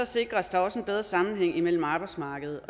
sikres der også en bedre sammenhæng mellem arbejdsmarkedet